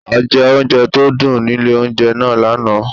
A jẹ oúnjẹ tó dùn nílé oúnjẹ náà lánáà